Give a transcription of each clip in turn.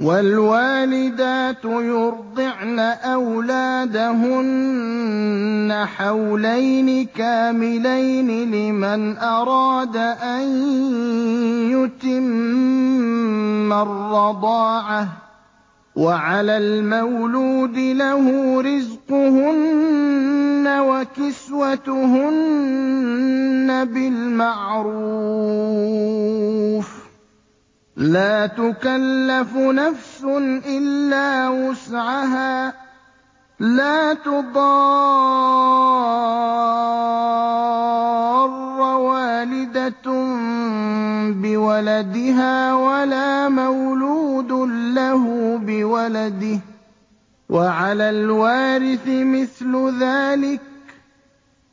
۞ وَالْوَالِدَاتُ يُرْضِعْنَ أَوْلَادَهُنَّ حَوْلَيْنِ كَامِلَيْنِ ۖ لِمَنْ أَرَادَ أَن يُتِمَّ الرَّضَاعَةَ ۚ وَعَلَى الْمَوْلُودِ لَهُ رِزْقُهُنَّ وَكِسْوَتُهُنَّ بِالْمَعْرُوفِ ۚ لَا تُكَلَّفُ نَفْسٌ إِلَّا وُسْعَهَا ۚ لَا تُضَارَّ وَالِدَةٌ بِوَلَدِهَا وَلَا مَوْلُودٌ لَّهُ بِوَلَدِهِ ۚ وَعَلَى الْوَارِثِ مِثْلُ ذَٰلِكَ ۗ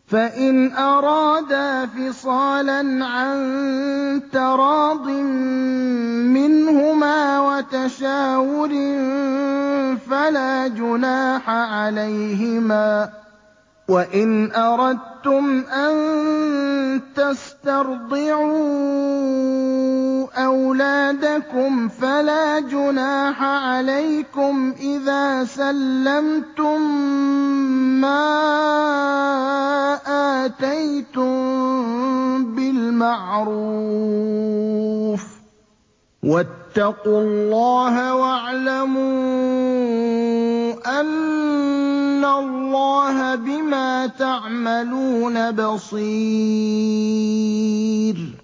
فَإِنْ أَرَادَا فِصَالًا عَن تَرَاضٍ مِّنْهُمَا وَتَشَاوُرٍ فَلَا جُنَاحَ عَلَيْهِمَا ۗ وَإِنْ أَرَدتُّمْ أَن تَسْتَرْضِعُوا أَوْلَادَكُمْ فَلَا جُنَاحَ عَلَيْكُمْ إِذَا سَلَّمْتُم مَّا آتَيْتُم بِالْمَعْرُوفِ ۗ وَاتَّقُوا اللَّهَ وَاعْلَمُوا أَنَّ اللَّهَ بِمَا تَعْمَلُونَ بَصِيرٌ